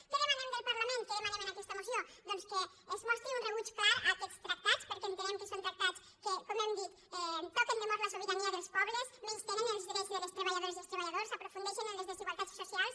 què demanem del parlament què demanem en aquesta moció doncs que es mostri un rebuig clar a aquests tractats perquè entenem que són tractats que com hem dit toquen de mort la sobirania dels pobles menystenen els drets de les treballadores i els treballadors aprofundeixen en les desigualtats socials